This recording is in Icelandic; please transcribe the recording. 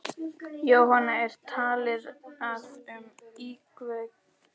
Jóhann, er talið að um íkveikju hafi verið að ræða?